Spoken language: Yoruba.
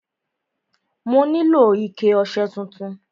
Mo nílò ike ọṣẹ tuntun.